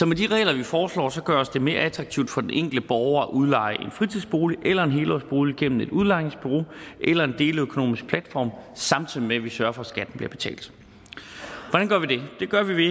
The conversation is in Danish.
med de regler vi foreslår gøres det mere attraktivt for den enkelte borger at udleje en fritidsbolig eller en helårsbolig gennem et udlejningsbureau eller en deleøkonomisk platform samtidig med at vi sørger for at skatten bliver betalt hvordan gør vi det det gør vi